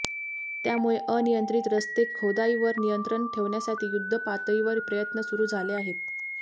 त्यामुळे अनियंत्रित रस्तेखोदाईवर नियंत्रण ठेवण्यासाठी युद्धपातळीवर प्रयत्न सुरू झाले आहेत